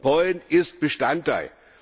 Pollen ist Bestandteil.